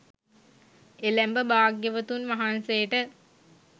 එළැඹ භාග්‍යවතුන් වහන්සේට